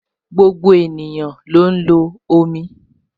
Gbogbo ènìyàn ló ń lo omi